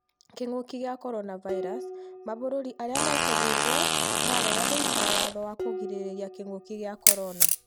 Kĩngũki kĩa Coronavirus:mabũrũri arĩa mekũhingwo marega gũĩkĩra watho wa kũrigĩrĩria kĩngũki kĩa corona